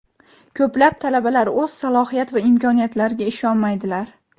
Ko‘plab talabalar o‘z salohiyat va imkoniyatlariga ishonmaydilar.